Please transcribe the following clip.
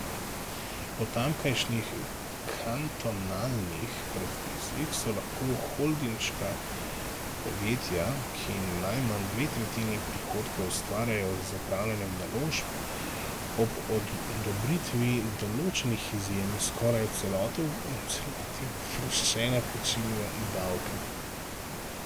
Po tamkajšnjih kantonalnih predpisih so lahko holdinška podjetja, ki najmanj dve tretjini prihodkov ustvarjajo z upravljanjem naložb, ob odobritvi določenih izjem skoraj v celoti oproščena plačila davka.